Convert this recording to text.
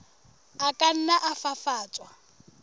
a ka nna a fafatswa